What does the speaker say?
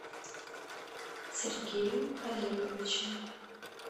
сергеем олеговичем